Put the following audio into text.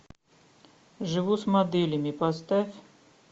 живу с моделями поставь